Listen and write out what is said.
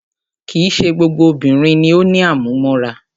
Kìí ṣe gbogbo obìnrin ni o ní àmúmóra.